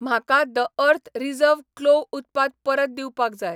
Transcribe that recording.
म्हाका the earth reserve clove उत्पाद परत दिवपाक जाय